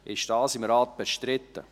Ist dies im Rat bestritten?